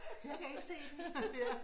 Jeg kan ikke se den